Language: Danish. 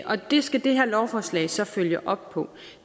og det skal det her lovforslag så følge op på